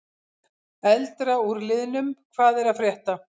Eldra úr liðnum: Hvað er að frétta?